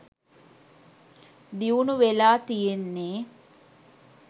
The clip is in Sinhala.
දියුණු වෙලා තියෙන්නේ